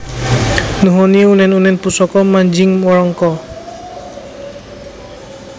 Nuhoni unen unen Pusaka manjing Wrangka